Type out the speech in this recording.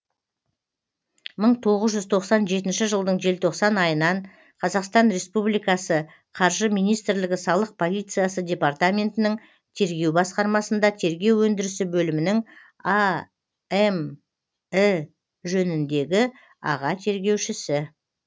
мың тоғыз жүз тоқсан жетінші жылдың желтоқсан айынан қр қаржы министрлігі салық полициясы департаментінің тергеу басқармасында тергеу ендірісі бөлімінің амі женіндегі аға тергеушісі